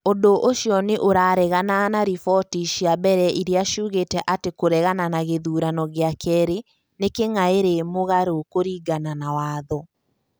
Ũndũ ũcio nĩ ũraregana na riboti cia mbere iria ciugĩte atĩ kũregana na gĩthurano gĩa kerĩ nĩ kĩngĩarĩ mũgarũ kũringana na watho.